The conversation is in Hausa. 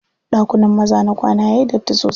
Ɗakunan maza na kwana yayi datti sosai.